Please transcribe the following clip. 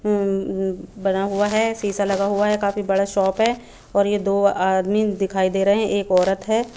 बना हुआ है सीसा लगा हुआ है काफी बड़ा शॉप है और ये दो आदमी दिखाई दे रहे है एक ओरत है।